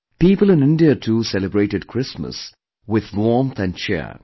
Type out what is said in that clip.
People in India too celebrated Christmas with warmth and cheer